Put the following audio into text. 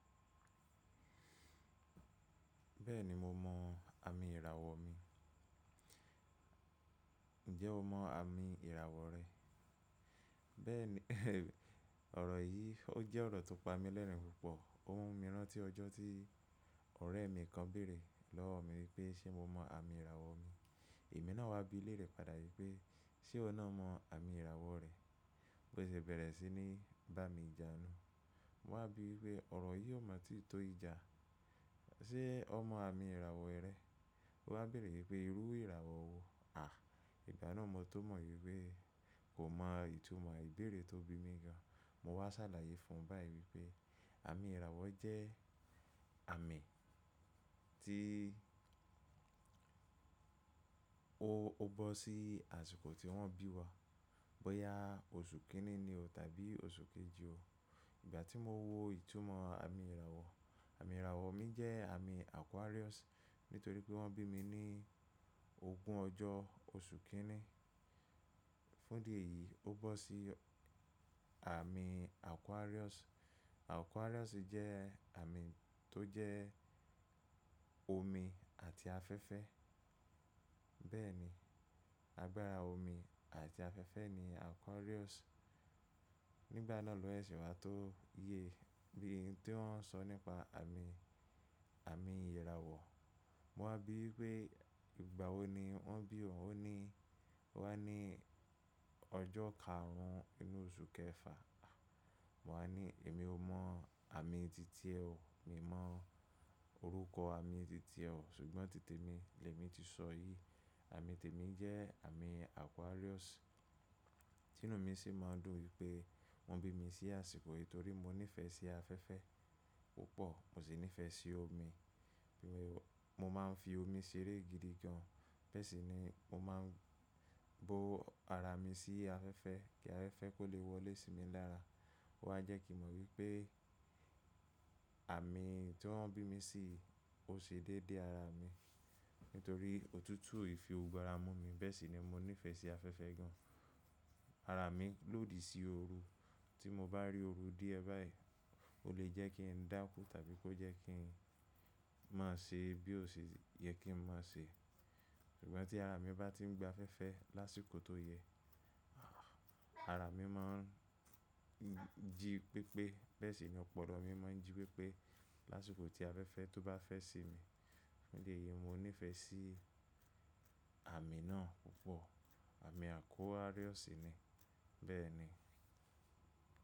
Bẹ́ẹ̀ni mo mọ àmì ìràwọ̀ mi. Ǹjẹ́ o mọ àmì ìràwọ̀ rẹ? Bẹ́ẹ̀ni, ọ̀rọ̀ yìí ó jẹ́ ọ̀rọ̀ tó pa mí lẹ́rìn-ín púpọ̀. Ó mú mi rán tí ọjọ́ tí ọ̀rẹ́ mi kan beèrè lọ́wọ́ mi wípé ṣe mo mọ àmì ìràwọ̀ mi. Èmi náà wá bí leérẹ̀ padà wípé ṣe iwọ naa mọ àmì ìràwọ̀ rẹ? Ó sì bẹ̀rẹ̀ sí ní bá mi ija nu. Mo wá bí wípé ọ̀rọ̀ yìí ó mọ̀ tìi tó ija. Ṣé ọ mọ àmì ìràwọ̀ rẹ? Ó wá beèrè wípé irú ìràwọ̀ wo? Ìgbà náà mo tó mọ̀ wípé kò mọ ìtumọ̀ ìbéèrè tó bi mí gan. Mo wá ṣàlàyé fun bái wípé àmì ìràwọ̀ jẹ́ àmì tí o, o bọ́ sí àsìkò tí wọ́n bí wa. Bóyá oṣù kíní ni o tàbí oṣù kejì o. Ìgbà tí mo wo ìtumọ̀ àmì ìràwọ̀, àmì ìràwọ̀ mi jẹ́ àmì Aquarius nítorí pé wọ́n bí mi ní ogún ọjọ́ oṣù kíní. Fún di èyí ó bọ́ sí àmì Aquarius. Aquarius jẹ́ àmì tó jẹ́ omi àti afẹ́fẹ́. Bẹ́ẹ̀ni, agbára omi àti afẹ́fẹ́ ni Aquarius. Nígbà náà ló sèse wá tó ye bí i n tí wọ́n ń sọ nípa àmì, àmì ìràwọ̀. Mo wá bí wípé ìgbà wo ni wọ́n bí ọ̀un? Ó ní, ó wá ní ọjọ́ karùn-ún inú oṣù kẹfà. Mo wá ní èmi ò mọ àmì titẹ̀ o, mi mọ orúkọ àmì titẹ̀ o ṣùgbọ́n titè mi lè mi ti sọ yìí. Àmì tèmi jẹ́ àmì Aquarius. Ẹ̀nù mi sì máa ń dùn wípé wọ́n bí mi sí àsìkò yìí torí mo nífẹ̀ẹ́ sí afẹ́fẹ́ púpọ̀, mò sì nífẹ̀ẹ́ sí omi. Mo máa ń fi omi ṣeré gidi gan. Bẹ́ẹ̀ sì ni mo máa ń bó ara mi sí afẹ́fẹ́ kí afẹ́fẹ́ kó lè wọlé sí mi lára. Ó wá jẹ́ kí n mọ wípé àmì tí wọ́n bí mi sì ó ṣe dédé ara mi nítorí òtútù e fi gbogbo ara mú mi. Bẹ́ẹ̀ sì ni mo nífẹ̀ẹ́ sí afẹ́fẹ́ gan. Ara mi lòdì sí ooru. Tí mo bá rí ooru díẹ̀ báyìí, ó lè jẹ́ kí n dákú tàbí kó jẹ́ kí n má ṣe bí ó ṣe yẹ kí ń má ṣe. Ṣùgbọ́n tí ara mi bá tí ń gba afẹ́fẹ́ lásìkò tó yẹ, ara mi máa ń jí pépé. Bẹ́ẹ̀ sì ni ọpọlọ mi máa ń jí pépé lásìkò tí afẹ́fẹ́ tó bá fẹ́ sí mi. Fun idi èyí, mo nífẹ̀ẹ́ sí àmì náà púpọ̀. Àmì Aquarius ni. Bẹ́ẹ̀ ni.